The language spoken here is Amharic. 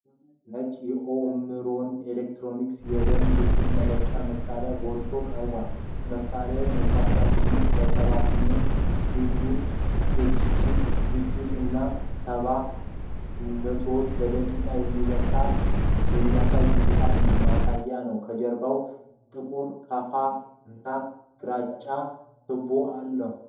ነጭ የኦምሮን ኤሌክትሮኒክስ የደም ግፊት መለኪያ መሳሪያ ጎልቶ ቀርቧል። መሣሪያው 118/78 ሚሜ ኤችጂ ግፊት እና 70 ምቶች በደቂቃ የሚለውን የሚያሳይ ዲጂታል ማሳያ አለው። ከጀርባው ጥቁር ካፍ እና ግራጫ ቱቦዎች አሉ።